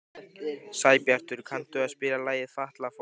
Sæbjartur, kanntu að spila lagið „Fatlafól“?